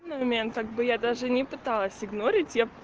ин момент так бы я даже не пыталась игнорить я б